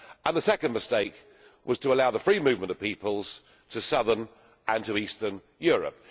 The second mistake was to allow the free movement of people to southern and to Eastern Europe.